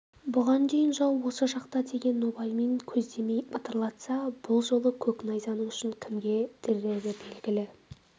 бұған дейін жау осы жақта деген нобаймен көздемей бытырлатса бұл жолы көк найзаның ұшын кімге тірері белгілі